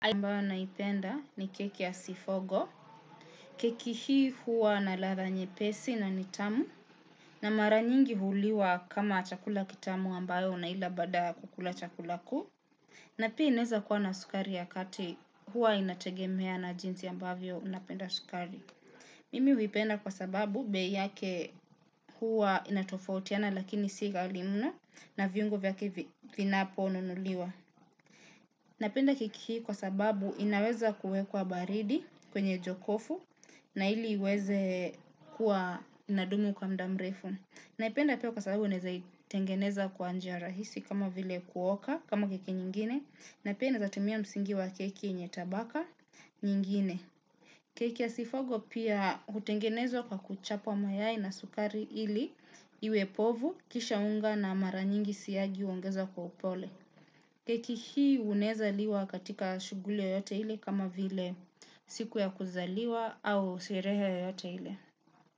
Ambayo naipenda ni keki ya sifogo keki hii huwa na latha nyepesi na nitamu na mara nyingi huliwa kama chakula kitamu ambayo unaila baada ya kukula chakula kuu na pia inaeza kuwa na sukari ya kati huwa inategemea na jinsi ambavyo unapenda sukari mimi huipenda kwa sababu bei yake huwa inatofautiana lakini sighali mno na viungo vyake vinapo nunuliwa. Napenda keki hii kwa sababu inaweza kuwekwa baridi kwenye jokofu na ili iweze kuwa nadumu kwa mda mrefu. Naipenda pia kwa sababu unaweza itengeneza kwa njia rahisi kama vile kuoka kama keke nyingine na pia inaezatumia msingi wa keki yenye tabaka nyingine. Keke ya sifogo pia utengenezwa kwa kuchapwa mayai na sukari ili iwe povu kisha unga na mara nyingi siyagi uongezwa kwa upole. Keki hii unaweza liwa katika shughuli yoyote ile kama vile siku ya kuzaliwa au sherehe yoyote ile.